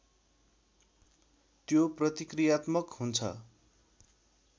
त्यो प्रतिकृयात्मक हुन्छ